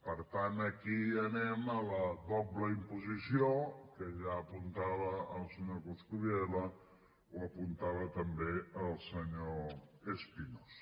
per tant aquí anem a la doble imposició que ja apuntava el senyor coscubiela o apuntava també el senyor espinosa